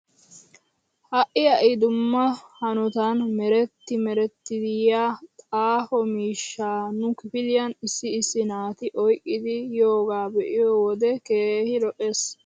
Ha'i ha'i dumma hanotan meretti merettidi yeyaa xaafo miishshaa nu kifiliyan issi issi naati oyqqidi yiyoogaa be'iyoo wode keehi lo'es.